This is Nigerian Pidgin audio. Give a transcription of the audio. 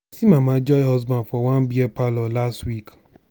i see mama joy husband for one beer parlor last week.